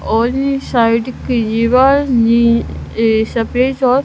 और साइड कि दीवार नि ए सफेद और--